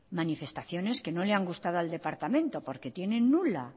manifestaciones que no le han gustado al departamento porque tienen nula